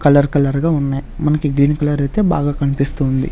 Colour కలర్గా ఉన్నాయ్ మనకి గ్రీన్ కలర్ ఐతే బాగా కన్పిస్తూ ఉంది.